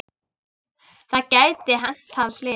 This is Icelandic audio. Það gæti hent hann slys.